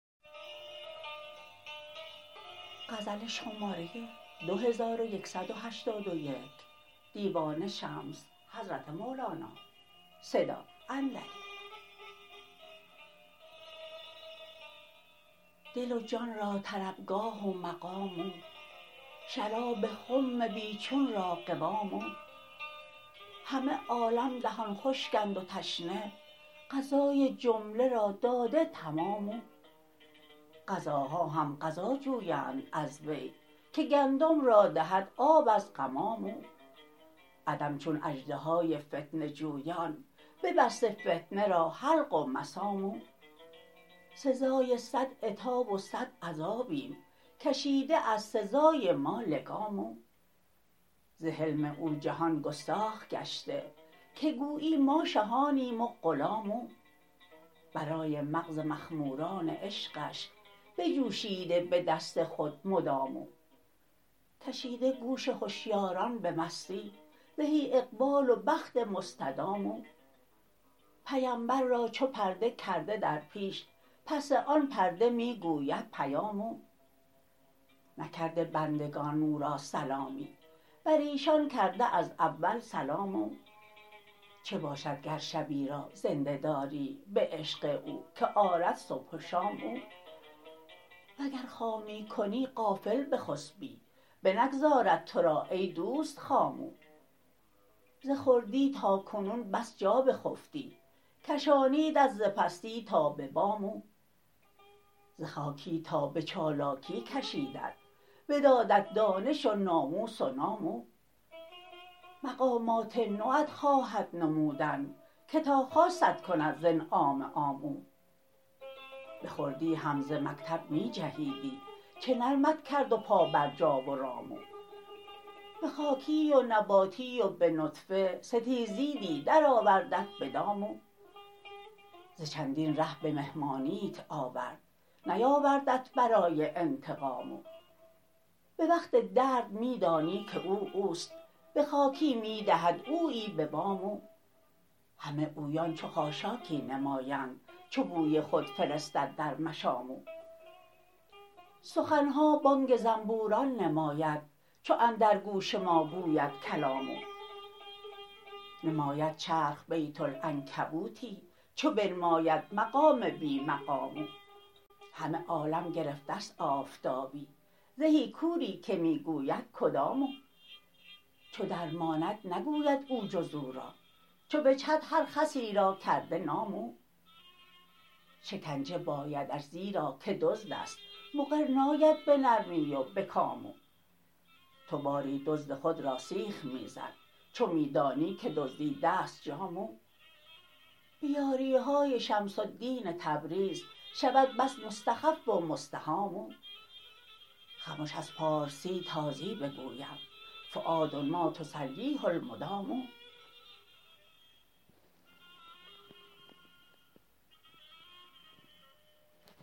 دل و جان را طربگاه و مقام او شراب خم بی چون را قوام او همه عالم دهان خشکند و تشنه غذای جمله را داده تمام او غذاها هم غذا جویند از وی که گندم را دهد آب از غمام او عدم چون اژدهای فتنه جویان ببسته فتنه را حلق و مسام او سزای صد عتاب و صد عذابیم کشیده از سزای ما لگام او ز حلم او جهان گستاخ گشته که گویی ما شهانیم و غلام او برای مغز مخموران عشقش بجوشیده به دست خود مدام او کشیده گوش هشیاران به مستی زهی اقبال و بخت مستدام او پیمبر را چو پرده کرده در پیش پس آن پرده می گوید پیام او نکرده بندگان او را سلامی بر ایشان کرده از اول سلام او چه باشد گر شبی را زنده داری به عشق او که آرد صبح و شام او وگر خامی کنی غافل بخسپی بنگذارد تو را ای دوست خام او ز خردی تا کنون بس جا بخفتی کشانیدت ز پستی تا به بام او ز خاکی تا به چالاکی کشیدت بدادت دانش و ناموس و نام او مقامات نوت خواهد نمودن که تا خاصت کند ز انعام عام او به خردی هم ز مکتب می جهیدی چه نرمت کرد و پابرجا و رام او به خاکی و نباتی و به نطفه ستیزیدی درآوردت به دام او ز چندین ره به مهمانیت آورد نیاوردت برای انتقام او به وقت درد می دانی که او او است به خاکی می دهد اویی به وام او همه اویان چو خاشاکی نمایند چو بوی خود فرستد در مشام او سخن ها بانگ زنبوران نماید چو اندر گوش ما گوید کلام او نماید چرخ بیت العنکبوتی چو بنماید مقام بی مقام او همه عالم گرفته ست آفتابی زهی کوری که می گوید کدام او چو درماند نگوید او جز او را چو بجهد هر خسی را کرده نام او شکنجه بایدش زیرا که دزد است مقر ناید به نرمی و به کام او تو باری دزد خود را سیخ می زن چو می دانی که دزدیده ست جام او به یاری های شمس الدین تبریز شود بس مستخف و مستهام او خمش از پارسی تازی بگویم فؤاد ما تسلیه المدام